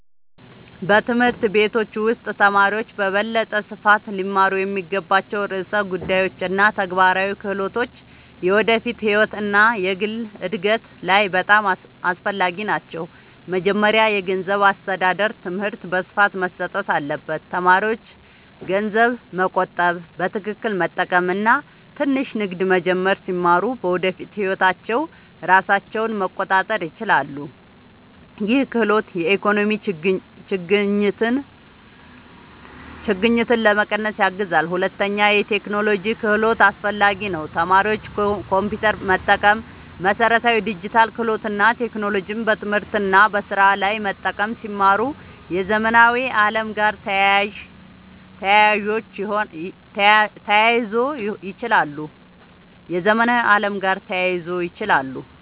በትምህርት ቤቶች ውስጥ ተማሪዎች በበለጠ ስፋት ሊማሩ የሚገባቸው ርዕሰ ጉዳዮች እና ተግባራዊ ክህሎቶች የወደፊት ህይወት እና የግል እድገት ላይ በጣም አስፈላጊ ናቸው። መጀመሪያ የገንዘብ አስተዳደር ትምህርት በስፋት መሰጠት አለበት። ተማሪዎች ገንዘብ መቆጠብ፣ በትክክል መጠቀም እና ትንሽ ንግድ መጀመር ሲማሩ በወደፊት ህይወታቸው ራሳቸውን መቆጣጠር ይችላሉ። ይህ ክህሎት የኢኮኖሚ ችግኝትን ለመቀነስ ያግዛል። ሁለተኛ የቴክኖሎጂ ክህሎት አስፈላጊ ነው። ተማሪዎች ኮምፒውተር መጠቀም፣ መሠረታዊ ዲጂታል ክህሎት እና ቴክኖሎጂን በትምህርት እና በስራ ላይ መጠቀም ሲማሩ የዘመናዊ ዓለም ጋር ተያይዞ ይችላሉ።